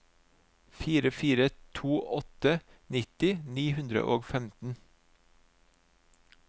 fire fire to åtte nitti ni hundre og femten